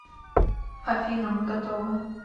афина мы готовы